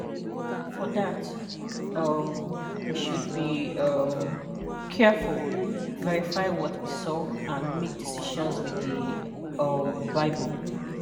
For that, um we should be um careful, verify what we saw, and make decisions with the um Bible.